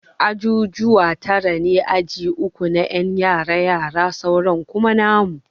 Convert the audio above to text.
Ajujuwa tara ne, Aji uku na ƴan yara yara sauran kuma namu.